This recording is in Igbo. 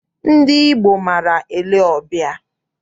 Ndị Igbo maara ele ọbịa.